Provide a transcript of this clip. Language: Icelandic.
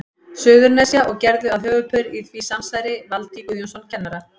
Suðurnesja, og gerðu að höfuðpaur í því samsæri Valtý Guðjónsson kennara.